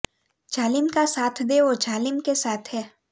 જાલિમ કા સાથ દે વો જાલિમ કે સાથ હૈ